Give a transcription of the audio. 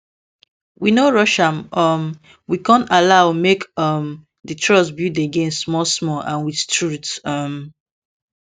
we no rush am um we con allow make um the trust build again small small and with truth um